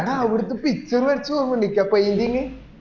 എടാ അവർക്ക് picture വരച്ചു കൊടുക്കണ്ടേ നിനക് ആ painting